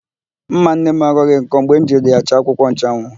Ḿmà nnenne m aghọghị nkọ mgbe m jiri ya chaa akwụkwọnchụanwụ.